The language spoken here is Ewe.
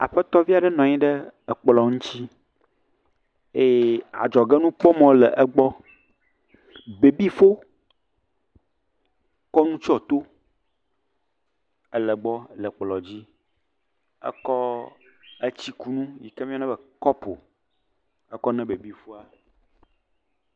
Aƒetɔvi aɖe nɔ amyi ɖe kplɔ ŋti eye adzɔgenukpɔmɔ le gbɔ bebinfo kɔ nu tsyɔ to le gbɔ le kplɔ dzi ekɔ tsikunu yike woyɔna be kɔpo kɔ ne bebinfoa